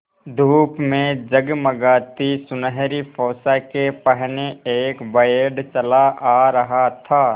धूप में जगमगाती सुनहरी पोशाकें पहने एक बैंड चला आ रहा था